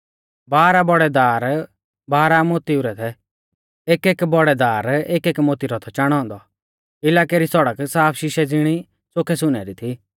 बारह बौड़ै दार बाराह मोतिऊ रै थै एकएक बौड़ै दार एकएक मोती रौ थौ चाणौ औन्दौ इलाकै री सौड़क साफ शीशै ज़िणै च़ोखै सुनै री थी